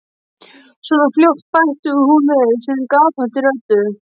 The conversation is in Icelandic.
. svona fljótt, bætti hún við sinni gapandi röddu.